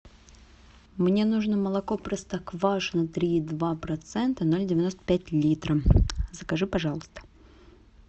мне нужно молоко простоквашино три и два процента ноль девяносто пять литра закажи пожалуйста